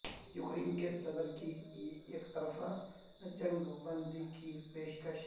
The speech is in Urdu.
یوکرین کے صدر کی یکطرفہ جنگ بندی کی پیشکش